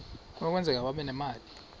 kunokwenzeka babe nemali